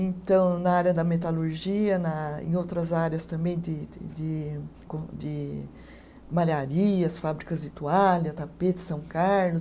Então, na área da metalurgia na, em outras áreas também de de de com de malharias, fábricas de toalha, tapetes São Carlos.